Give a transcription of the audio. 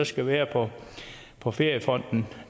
skal være på feriefonden